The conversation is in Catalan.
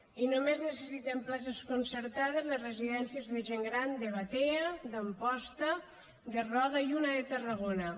i només necessiten places concertades les residències de gent gran de batea d’amposta de roda i una de tarragona